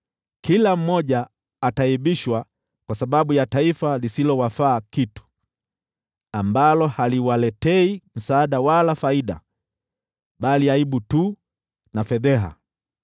kila mmoja ataaibishwa kwa sababu ya taifa lisilowafaa kitu, ambalo haliwaletei msaada wala faida, bali aibu tu na fedheha.”